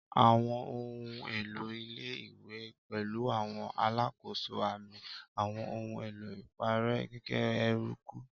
Àwọn ohun èlò ilé-ìwé pẹ̀lú àwọn alákòóso, àmì, àwọn ohun èlò ìparẹ́, gègé, eruku.